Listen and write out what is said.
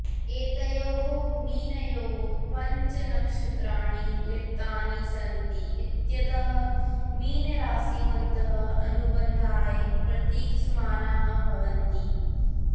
एतयोः मीनयोः पञ्च नक्षत्राणि लिप्तानि सन्ति इत्यतः मीनराशिवन्तः अनुबन्धाय प्रतीक्षमाणाः भवन्ति